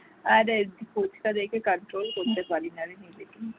আরে ফুচকা দেখে control করতে পারি না রে নিজেকে